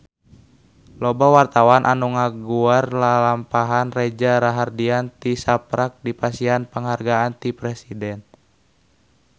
Loba wartawan anu ngaguar lalampahan Reza Rahardian tisaprak dipasihan panghargaan ti Presiden